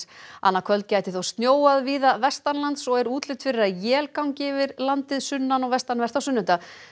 annað kvöld gæti þó snjóað víða vestanlands og er útlit fyrir að él gangi yfir landið sunnan og vestanvert á sunnudag